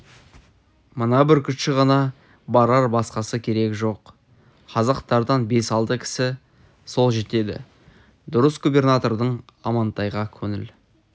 мына бүркітші ғана барар басқасы керегі жоқ казактардан бес-алты кісі сол жетеді дұрыс губернатордың амантайға көңіл